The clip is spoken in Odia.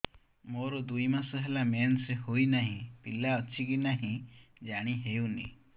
ମୋର ଦୁଇ ମାସ ହେଲା ମେନ୍ସେସ ହୋଇ ନାହିଁ ପିଲା ଅଛି କି ନାହିଁ ଜାଣି ହେଉନି